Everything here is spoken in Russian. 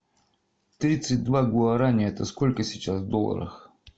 тридцать два гуарани это сколько сейчас в долларах